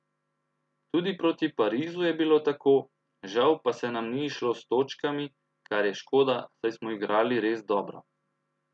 Tudi proti Parizu je bilo tako, žal pa se nam ni izšlo s točkami, kar je škoda, saj smo igrali res dobro.